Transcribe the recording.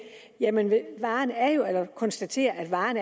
konstatere at varen